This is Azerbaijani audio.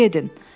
Di gedin.